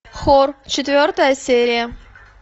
хор четвертая серия